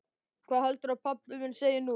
Hvað heldurðu að pabbi þinn segi nú?